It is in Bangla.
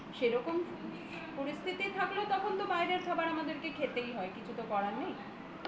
সেরকম পরিস্থিতি থাকলে বাইরের খাবার আমাদের খেতেই হয় কিছু তো করার নেই